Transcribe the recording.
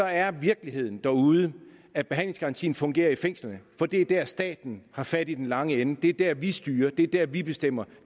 er virkeligheden derude at behandlingsgarantien fungerer i fængslerne fordi det er der staten har fat i den lange ende det er der vi styrer det er der vi bestemmer